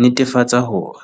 netefatsa hore.